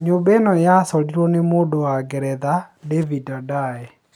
Nyũmba ĩno yacorirwe nĩ mũndũ wa Ngeretha David Adjaye